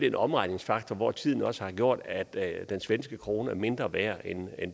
en omregningsfaktor hvor tiden også har gjort at den svenske krone er mindre værd end